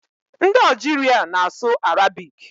Ndị Ọjiria na-asụ arabik.